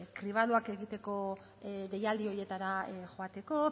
kribadoak egiteko deialdi horietara joateko